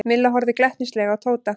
Milla horfði glettnislega á Tóta.